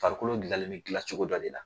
Farikolo dilanlen be dilancogo dɔ de la.